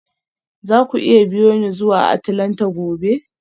Za ku iya biyo ni zuwa Atlanta gobe?